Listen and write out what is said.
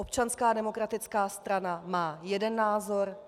Občanská demokratická strana má jeden názor.